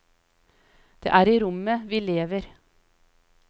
Det er i rommet vi lever.